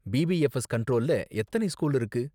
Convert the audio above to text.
PPFS கண்ட்ரோல்ல எத்தன school இருக்கு